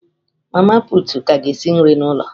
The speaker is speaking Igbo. Mama pụtụ ka ga esi nri n'ụlọ.